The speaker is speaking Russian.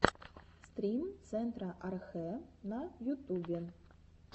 стрим центра архэ на ютубе